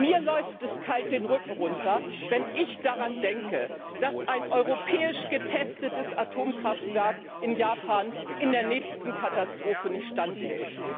Mir läuft es kalt den Rücken herunter, wenn ich daran denke, dass ein europäisch getestetes Atomkraftwerk in Japan der nächsten Katastrophe nicht standhält.